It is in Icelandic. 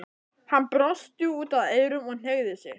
Hann brosti út að eyrum og hneigði sig.